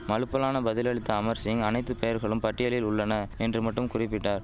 மலுப்பலான பதிலளித்த அமர் சிங் அனைத்து பெயர்களும் பட்டியலில் உள்ளன என்று மட்டும் குறிபிட்டார்